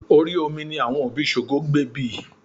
Orí omi ní àwọn òbí Ṣògo gbé bí i